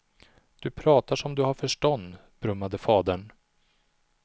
Du pratar som du har förstånd, brummade fadern.